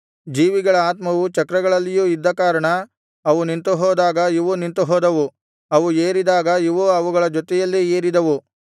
ಜೀವಿಗಳ ಆತ್ಮವು ಚಕ್ರಗಳಲ್ಲಿಯೂ ಇದ್ದ ಕಾರಣ ಅವು ನಿಂತುಹೋದಾಗ ಇವೂ ನಿಂತುಹೋದವು ಅವು ಏರಿದಾಗ ಇವೂ ಅವುಗಳ ಜೊತೆಯಲ್ಲೇ ಏರಿದವು